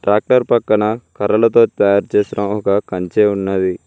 Doctor పక్కన కర్రలతో తయారు చేసిన ఒక కంచే ఉన్నది.